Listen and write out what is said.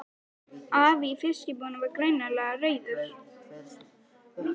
Afi í fiskbúðinni var greinilega reiður.